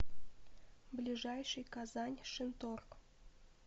ближайший казань шинторг